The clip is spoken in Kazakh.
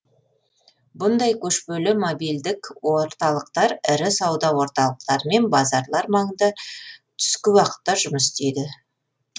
бұндай көшпелі мобильдік орталықтар ірі сауда орталықтары мен базарлар маңында түскі уақытта жұмыс істейді